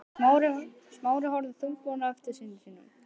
Smári horfði þungbúinn á eftir syni sínum.